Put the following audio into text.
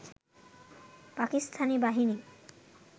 পাকিস্তানি বাহিনী